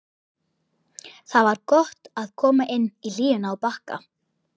Það var gott að koma inn í hlýjuna á Bakka.